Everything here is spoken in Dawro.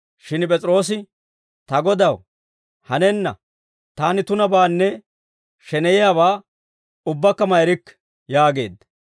Shin P'es'iroosi, «Ta Godaw, hanenna! Taani tunabaanne sheneyiyaabaa ubbakka ma erikke» yaageedda.